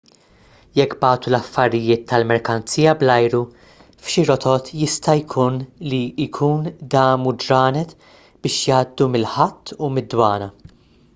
jekk bagħtu l-affarijiet tal-merkanzija bl-ajru f'xi rotot jista' jkun li jkun damu ġranet biex jgħaddu mill-ħatt u mid-dwana